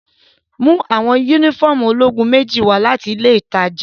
Mu awọn unifọmú ologun meji wa lati ile itaja!